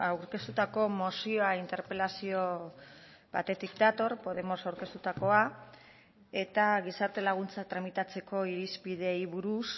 aurkeztutako mozioa interpelazio batetik dator podemos aurkeztutakoa eta gizarte laguntza tramitatzeko irizpideei buruz